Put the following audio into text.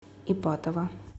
ипатово